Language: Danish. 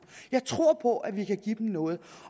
jeg tror på at vi kan give dem noget